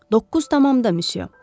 Doqquz tamamda, misya.